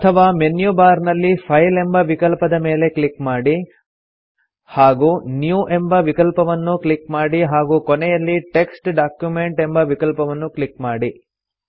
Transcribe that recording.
ಅಥವಾ menu bar ನಲ್ಲಿ file ಎಂಬ ವಿಕಲ್ಪದ ಮೇಲೆ ಕ್ಲಿಕ್ ಮಾಡಿ ಹಾಗೂ ನ್ಯೂ ಎಂಬ ವಿಕಲ್ಪವನ್ನು ಕ್ಲಿಕ್ ಮಾಡಿ ಹಾಗೂ ಕೊನೆಯಲ್ಲಿ ಟೆಕ್ಸ್ಟ್ ಡಾಕ್ಯುಮೆಂಟ್ ಎಂಬ ವಿಕಲ್ಪವನ್ನು ಕ್ಲಿಕ್ ಮಾಡಿ